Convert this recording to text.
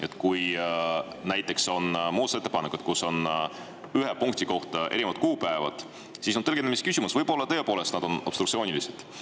Et kui on muudatusettepanekud, kus on ühe punkti kohta erinevad kuupäevad, siis on tõlgendamise küsimus, võib-olla tõepoolest need on obstruktsioonilised.